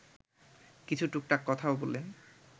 কিছু টুকটাক কথাও বললেন